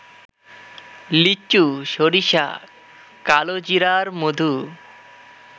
লিচু, সরিষা, কালোজিরার মধু